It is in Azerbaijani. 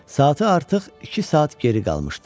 Saatı artıq iki saat geri qalmışdı.